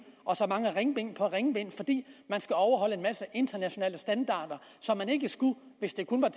og ringbind på ringbind fordi man skal overholde en masse internationale standarder som man ikke skulle hvis der kun var